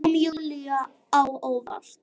Kom Júlíu á óvart.